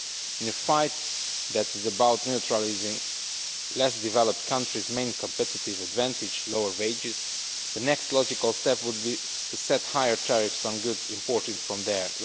In a fight that is about neutralising less developed countries' main competitive advantage lower wages the next logical step would be to set higher tariffs on goods imported from there.